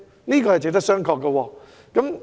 這點值得商榷。